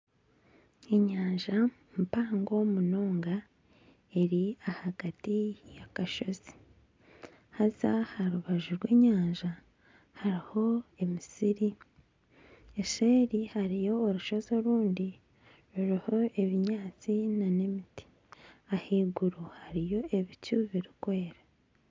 Enyanja mpango munonga eri ahagati y'akashozi haza aha rubaju rw'enyanja hariho emisiri. Eseeri hariyo orushozi orundi ruriho ebinyaatsi nana emiti. Ahaiguru hariyo ebicu birikwera.